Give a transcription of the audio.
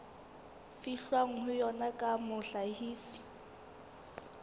fihlwang ho yona ya mohlahisi